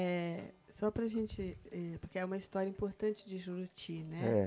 É, só para a gente, eh, porque é uma história importante de Juruti, né? É